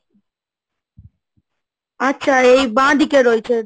আচ্ছা এই বাঁদিকে রয়েছে?